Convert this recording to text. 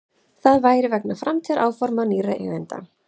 Það væri vegna framtíðaráforma nýrra eigenda